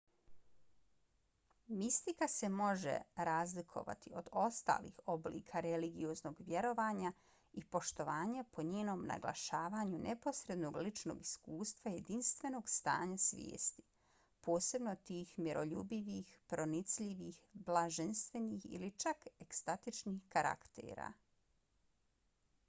mistika se može razlikovati od ostalih oblika religioznog vjerovanja i poštovanja po njenom naglašavanju neposrednog ličnog iskustva jedinstvenog stanja svijesti posebno tih miroljubivih pronicljivih blaženstvenih ili čak ekstatičnih karaktera